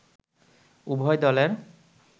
উভয় দলের